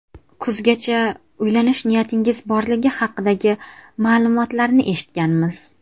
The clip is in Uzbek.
Kuzgacha uylanish niyatingiz borligi haqidagi ma’lumotlarni eshitganmiz?